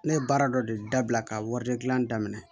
Ne ye baara dɔ de dabila ka wari de gilan